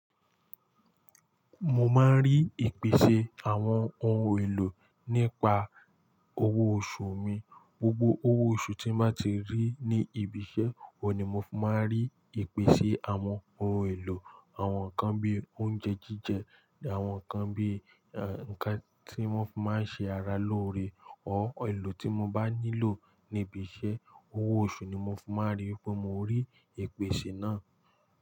Mo máa ń rí ìpèsè àwọn ohun èlò nípa owó oṣù mi. Gbogbo owó oṣù tí n bá ti rí ní ibi iṣẹ́, òun ni mo fi máa ń rí ìpèsè àwọn ohun èlò. Àwọn nǹkan bí i oúnjẹ jíjẹ, àwọn nǹkan bí i, eh, nǹkan tí wọ́n máa ń ṣe ara lóore or èlò tí mo bá nílò ní ibi iṣẹ́, owó oṣù ni mo fi máa n rí pé mo rí ìpèsè náà.